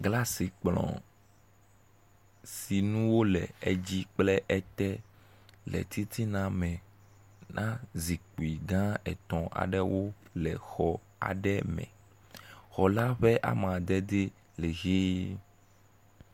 glasi kplɔ̃ si dzi nuwo le kple ete le titina mɛ na zikpi gã etɔ̃ aɖewo le xɔ aɖe me xɔla ƒe amadedi lɛ hii